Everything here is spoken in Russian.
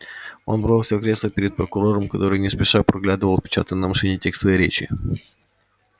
он бросился в кресло перед прокурором который не спеша проглядывал отпечатанный на машинке текст своей речи